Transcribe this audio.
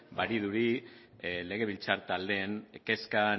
badirudi legebiltzar taldeen kezka